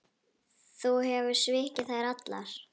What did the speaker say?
Þú hefur svikið þær allar.